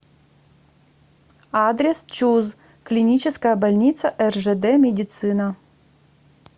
адрес чуз клиническая больница ржд медицина